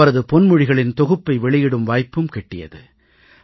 அவரது பொன்மொழிகளின் தொகுப்பை வெளியிடும் வாய்ப்பும் கிட்டியது